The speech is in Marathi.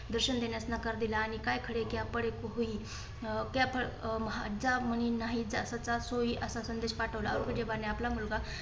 दर्शन देण्यास नकार दिला. आणि काय खरे की आपण एक होई ज्या म्हणे नाही त्याचा त्रास होई असा संदेश पाठवला व औरंगजेबाने आपला मुलगा